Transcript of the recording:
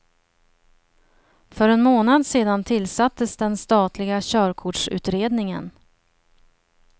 För en månad sedan tillsattes den statliga körkortsutredningen.